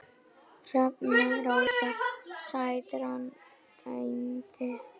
Hrefna Rósa Sætran dæmdi.